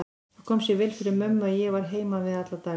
Það kom sér vel fyrir mömmu að ég var heima við alla daga.